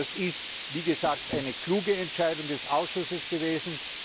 Das ist, wie gesagt, eine kluge Entscheidung des Ausschusses gewesen.